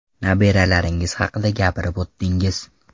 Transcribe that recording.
Nabiralaringiz haqida gapirib o‘tdingiz.